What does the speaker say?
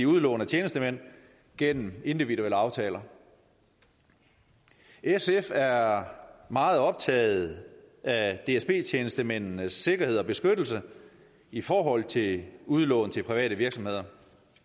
udlån af tjenestemænd gennem individuelle aftaler sf er meget optaget af dsb tjenestemændenes sikkerhed og beskyttelse i forhold til udlån til private virksomheder